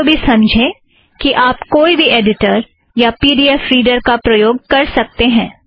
इस बात को भी समझें कि आप कोई भी ऐड़िटर या पी ड़ी ऐफ़ रीड़र का प्रयोग कर सकतें हैं